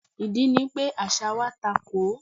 Ìdí ni pé àṣà wa takò ó.